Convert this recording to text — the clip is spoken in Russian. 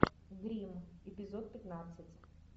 гримм эпизод пятнадцать